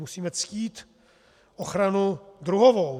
Musíme ctít ochranu druhovou.